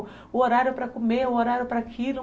O horário para comer, o horário para aquilo.